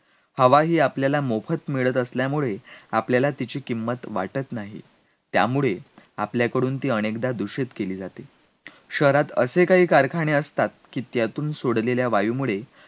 हवा ही आपल्याला मोफत मिळत असल्यामुळे आपल्याला तिची किंमत वाटत नाही, त्यामुळे आपल्याकडून ती अनेकदा दूषित केली जाते, शहरात असे काही कारखाने असतात की त्यातून सोडलेल्या वायूमुळे,